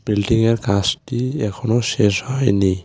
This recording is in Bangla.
বিল্ডিংএর কাসটি এখনও শেষ হয়নি।